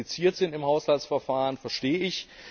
Dass die kompliziert sind im Haushaltsverfahren, verstehe ich.